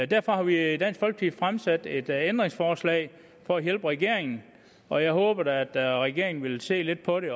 derfor har vi i dansk folkeparti stillet et ændringsforslag for at hjælpe regeringen og jeg håber da at regeringen vil se lidt på det